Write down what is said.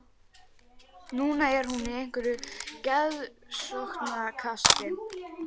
Nú er hún í einhverju geðvonskukasti.